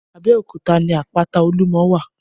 Abeokuta ni àpátá ólúmò wá